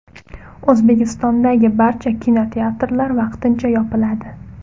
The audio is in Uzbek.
O‘zbekistondagi barcha kinoteatrlar vaqtincha yopiladi.